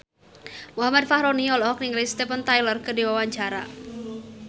Muhammad Fachroni olohok ningali Steven Tyler keur diwawancara